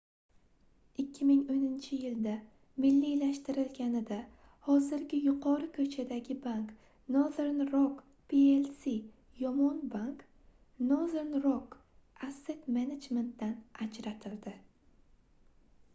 2010-yilda milliylashtirilganida hozirgi yuqori ko'chadagi bank — nothern rock plc yomon bank nothern rock asset management dan ajratildi